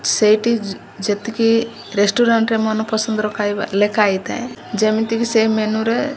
ସେଇଠି ଯେ ରେଷ୍ଟୁରାଣ୍ଟ ରେ ମନପସନ୍ଦର ଖାଇବା ଲେଖା ହେଇଥାଏ ଯେମିତିକି ସେ ମେନୁ ରେ --